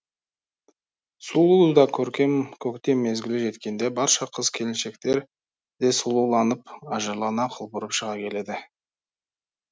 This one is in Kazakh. сұлу да көркем көктем мезгілі жеткенде барша қыз келіншектер де сұлуланып ажарлана құлпырып шыға келеді